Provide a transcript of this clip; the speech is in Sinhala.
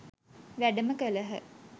වැඩම කළහ.